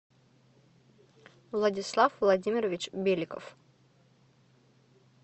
владислав владимирович беликов